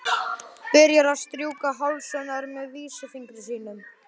Byrjar að strjúka háls hennar með vísifingri sínum.